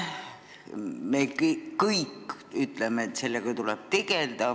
Me kõik ütleme, et sellega tuleb tegeleda.